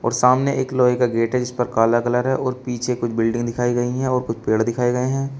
और सामने एक लोहे का गेट है जिस पर काला कलर है और पीछे कुछ बिल्डिंग दिखाई गई है और कुछ पेड़ दिखाएं गए हैं।